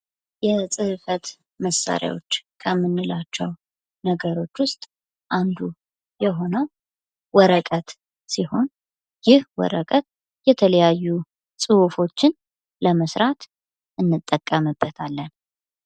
የጽፈት መሳሪያዎች ከምንላቸው ነገሮች ውስጥ አንዱ የሆነው ወረቀት ሲሆን ይህ ወረቀት የተለያዩ ጽሁፎችን ለመስራት እንጠቀምበታለን።